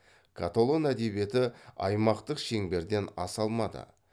каталон әдебиеті аймақтық шеңберден аса алмады